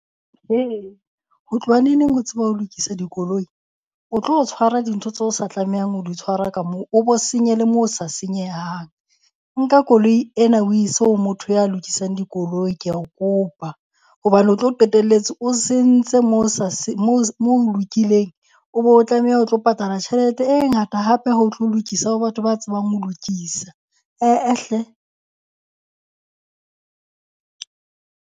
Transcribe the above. Ho tloha neneng ho tseba ho lokisa dikoloi? O tlo tshwara dintho tse o sa tlamehang ho di tshwara ka moo o bo senye le mo ho sa senyehang. Nka koloi ena o ise o motho ya lokisang dikoloi kea o kopa. Hobane o tlo qetelletse o sentse mo ho mo ho lokileng o be o tlamehe o tlo patala tjhelete e ngata hape ha o tlo lokisa ho batho ba tsebang ho lokisa. He-eh hle.